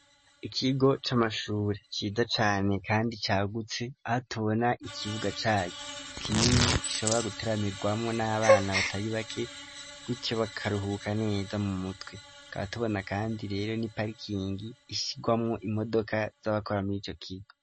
Ikigo c'amashure ciza cane, kandi cagutse, aho tubona ikibuga caco kinini gishobora guteramirwamwo n'abana batari bake, guco bakaruhuka neza m'umutwe, tukaba tubona kandi rero n'iparikingi ishigwamwo imodoka, zabakora murico kigo.